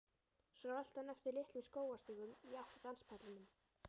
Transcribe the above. Svo rölti hann eftir litlum skógarstígum í átt að danspallinum.